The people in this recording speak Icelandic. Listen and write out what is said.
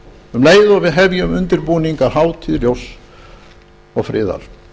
um leið og við hefjum undirbúning að hátíð ljóss og friðar